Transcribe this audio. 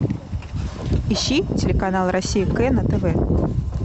ищи телеканал россия к на тв